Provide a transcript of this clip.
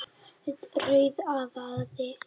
Rauðavaði